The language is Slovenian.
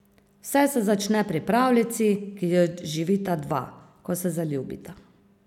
Vse se začne pri pravljici, ki jo živita dva, ko se zaljubita.